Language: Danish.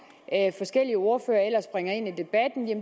forskellige ordførere ellers bringer ind